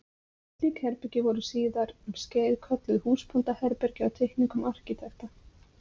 Slík herbergi voru síðar um skeið kölluð húsbóndaherbergi á teikningum arkitekta.